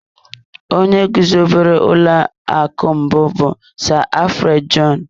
Onye guzobere ụlọ akụ mbụ bụ Sir Alfred Jon.